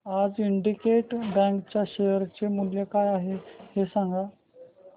आज Syndicate Bank च्या share चे मूल्य काय आहे हे सांगा